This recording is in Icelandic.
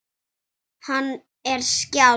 Að bjóða mér ekki.